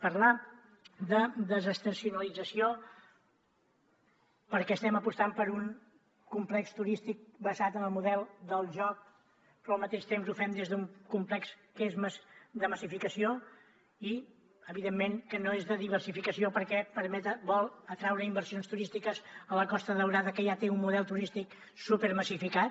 parlar de desestacionalització perquè estem apostant per un complex turístic basat en el model del joc però al mateix temps ho fem des d’un complex que és més de massificació i evidentment que no és de diversificació perquè vol atraure inversions turístiques a la costa daurada que ja té un model turístic supermassificat